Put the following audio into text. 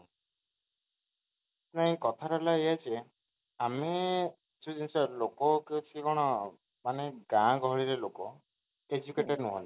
ନାହିଁ କଥା ଟା ହେଲା ଏଇୟା ଯେ ଆମେ ସେଇ ଜିନିଷ ଲୋକ କିଛି କଣ ମାନେ ଗାଁ ଗହଳି ଲୋକ educated ନୁହନ୍ତି